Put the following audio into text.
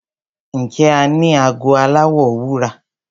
Ǹjẹ́ o ní ago aláwọ̀ wúrà?